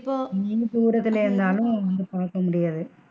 நீயும் தூரத்துல இருந்தாலும் வந்து பாக்க முடியாது.